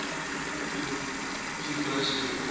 cuegloss cue ball